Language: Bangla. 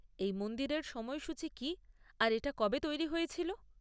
এই মন্দিরের সময়সূচী কি আর এটা কবে তৈরি হয়েছিল?